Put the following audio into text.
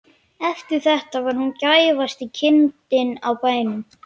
Eftir þetta var hún gæfasta kindin á bænum.